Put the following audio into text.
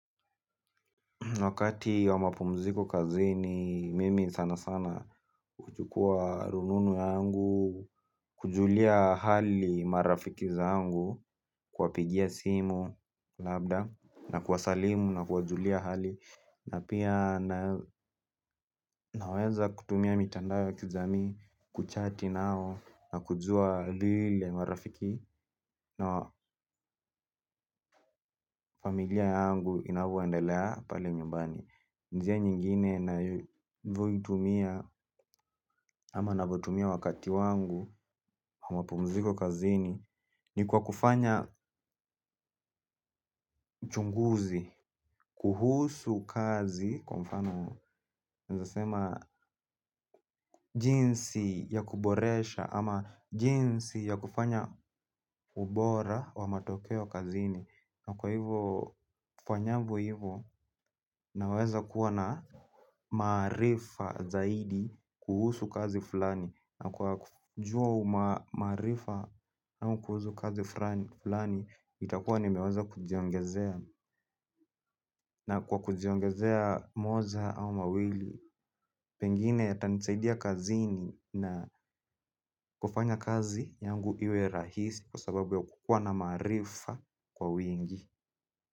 Wakati wa mapumziko kazini mimi sana sana huchukua rununu yangu, kuwajulia hali marafiki zangu, kuwapigia simu labda na kuwasalimu na kuwajulia hali. Na pia naweza kutumia mitandao ya kijamii kuchati nao na kujua vile marafiki na familia yangu inavyoendelea pale nyumbani. Njia, nyingine ninavyoitumia ama navyotumia wakati wangu mapumziko kazini ni kwa kufanya uchunguzi. Kuhusu kazi kwa mfano naweza kusema jinsi ya kuboresha ama jinsi ya kufanya ubora wa matokeo kazini na kwa hivyo kufanya hivo naweza kuwa na maarifa zaidi kuhusu kazi fulani na kwa kujua maarifa ama kuhusu kazi fulani itakuwa nimeweza kujiongezea na kwa kujiongezea moja au mawili. Pengine yatanisaidia kazini na kufanya kazi yangu iwe rahisi kwa sababu ya kuwa na maarifa kwa wingi.